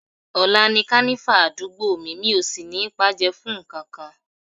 Ọ̀la ni Kànífà àdúgbò mi, mi ò sì ní paájẹ́ fún nǹkankan